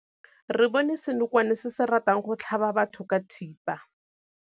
Re bone senokwane se se ratang go tlhaba batho ka thipa.